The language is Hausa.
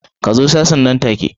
Ka zo sashen nan take.